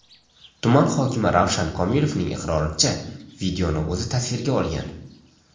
Tuman hokimi Ravshan Komilovning iqroricha, videoni o‘zi tasvirga olgan.